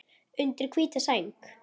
Undir hvíta sæng.